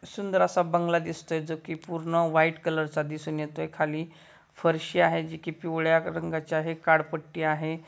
सुंदर असा बंगला दिसतोय जो की पूर्ण व्हाइट कलर चा दिसून येतोय खाली फरशी आहे जे की पिवळ्या रंगाची आहे काडपट्टी आहे.